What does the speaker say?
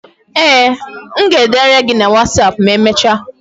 Ee, m ga-edere gị na wasapụ ma emecha.